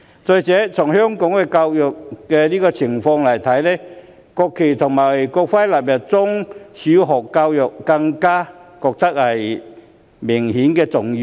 再者，以香港目前的教育情況來看，將國旗及國徽納入中小學教育便更顯重要。